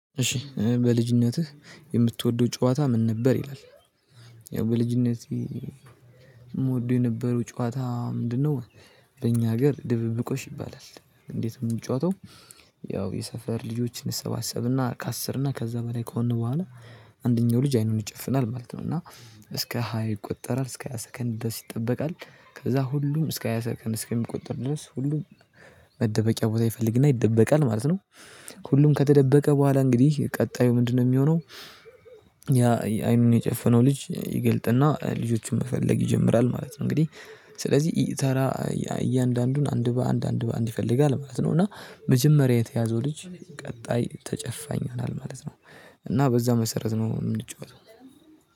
እሺ በልጅነትህ የምትወደው ጨዋታ ምን ነበር ይላል? ያው በልጅነቴ ምወደው የነበረው ጨዋታ ምንድነው? በእኛ ሀገር ድብብቆሽ ይባላል። እንዴት ነው ምንጫወተው? ያው የሰፈር ልጆችን እሰባሰብና ከአስር እና ከዛ በላይ ከሆን በኋላ አንደኛው ልጅ አይኑን ይጨፍናል ማለት ነው። እና እስከ ሃይ ይቆጠራል እስከ ሃያ ሰከንድ ድረስ ይጠበቃል። ከዛ ሁሉም እስከ ሃያ ሰከንድ እስከ ሚቆጥር ድረስ ሁሉም መደበቂያ ቦታ ይፈልግና ይደበቃል ማለት ነው። ሁሉም ከተደበቀ በኋላ እንግዲህ ቀጣዩ ምንድነው ሚሆነው? ያ አይኑን የጨፈነው ልጅ ይገልጥና ልጆቹን መፈለግ ይጀምራል ማለት ነው። እንግዲህ ስለዚህ እየተራ እያንዳንዱን አንድ በአንድ አንድ በአንድ ይፈልጋል ማለት ነው። እና መጀመሪያ የተያዘው ልጅ ቀጣይ ተጨፋኝ ይሆናል ማለት ነው። እና በዛ መሰረት ነው ምንጫወተው።